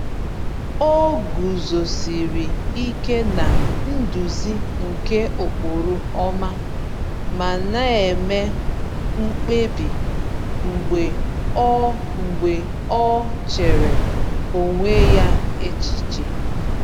O guzosiri ike na-nduzi nke ụkpụrụ ọma, ma na-eme mkpebi mgbe o mgbe o chere onwe ya echiche.